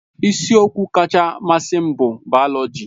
Isiokwu kacha mmasị m bụ bayoloji.